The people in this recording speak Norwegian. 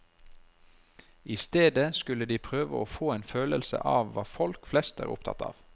I stedet skulle de prøve å få en følelse av hva folk flest er opptatt av.